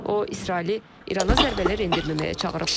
O İsraili İrana zərbələr endirməməyə çağırıb.